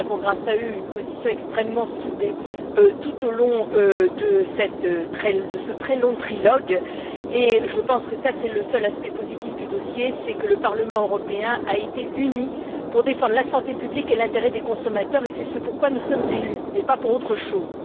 Nous avons, grâce à eux, une position extrêmement soudée tout au long de ce très long trilogue et je pense que le seul aspect positif du dossier, c'est que le Parlement européen a été uni pour défendre la santé publique et l'intérêt des consommateurs. C'est ce pour quoi nous sommes élus et pas pour autre chose.